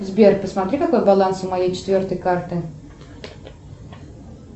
сбер посмотри какой баланс у моей четвертой карты